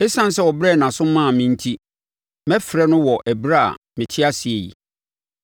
Esiane sɛ ɔbrɛɛ nʼaso maa me enti, mɛfrɛ no wɔ ɛberɛ a mete ase yi.